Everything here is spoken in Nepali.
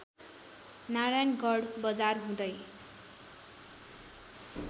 नारायणगढ बजार हुँदै